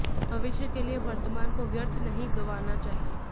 भविष्य के लिए वर्तमान को व्यर्थ नहीं गंवाना चाहिए